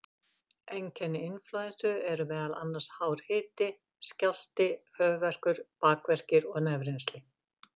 Einkenni inflúensu eru meðal annars hár hiti, skjálfti, höfuðverkur, beinverkir og nefrennsli.